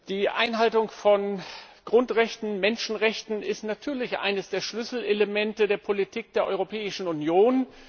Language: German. Die Einhaltung von Grundrechten und Menschenrechten ist natürlich eines der Schlüsselelemente der Politik der Europäischen Union.